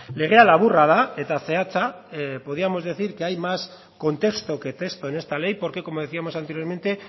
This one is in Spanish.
legea laburra da eta zehatza podíamos decir que hay más contexto que texto en esta ley porque como decíamos anteriormente